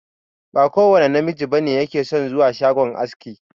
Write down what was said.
Ba kowanne namiji bane yake son zuwa shagon aski.